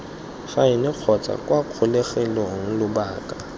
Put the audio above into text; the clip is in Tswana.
faene kgotsa kwa kgolegelong lobaka